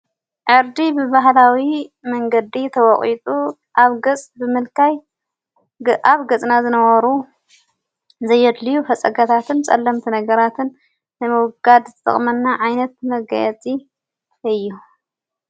ዕርዲ ብባህላዊ መንገዲ ተወቝጡ ኣብ ገጽ ብምልካይ ኣብ ገጽና ዝነበሩ ዘየድልዩ ፈጸገታትን ጸለምቲ ነገራትን ዘመውጋድ ዝዘጥቕመና ዓይነት መጋየጺ እዩ።